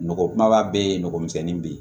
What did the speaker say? Nɔgɔ kumaba be yen nɔgɔmisɛnnin be yen